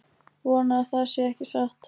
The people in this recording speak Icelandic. Vona að það sé ekki satt